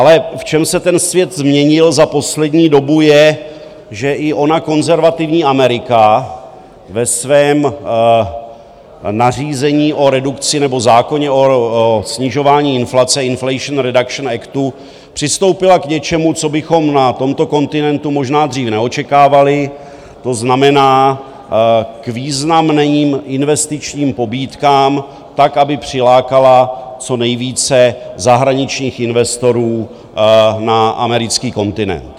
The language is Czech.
Ale v čem se ten svět změnil za poslední dobu je, že i ona konzervativní Amerika ve svém nařízení o redukci nebo v zákoně o snižování inflace, Inflation Reduction Actu, přistoupila k něčemu, co bychom na tomto kontinentu možná dřív neočekávali, to znamená k významným investičním pobídkám tak, aby přilákala co nejvíce zahraničních investorů na americký kontinent.